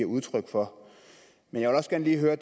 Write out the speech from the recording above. udtryk for men jeg vil også gerne lige høre